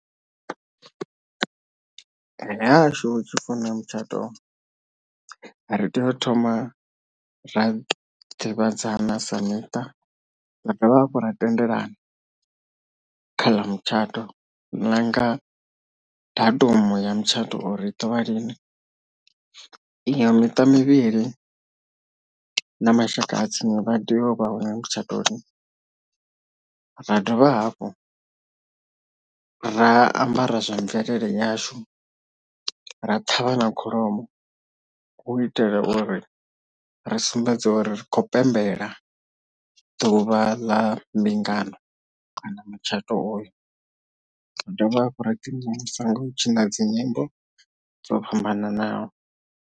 Hahashu hu tshi pfhi huna mutshato ri tea u thoma ra ḓivhadzana sa miṱa ra dovha hafhu ra tendelana khaḽa mutshato nanga datumu ya mutshato uri u ḓovha lini iyo miṱa mivhili na mashaka a tsini vha tea u vha hone mutshato ra dovha hafhu ra ambara zwa mvelele yashu ra thavha na kholomo hu itela uri ri sumbedza uri ri khou pembela ḓuvha ḽa mbingano kana mutshato oyo ra dovha hafhu ra ḓI mvumvusa nga u tshi na dzi nyimbo dzo fhambananaho.